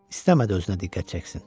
İstəmədi özünə diqqət çəksin.